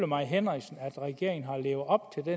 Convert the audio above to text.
mai henriksen at regeringen har levet op